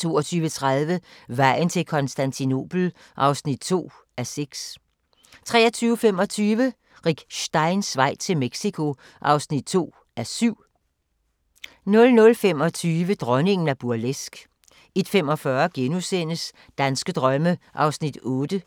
22:30: Vejen til Konstantinopel (2:6) 23:25: Rick Steins vej til Mexico (2:7) 00:25: Dronningen af burleske 01:45: Danske drømme (8:10)*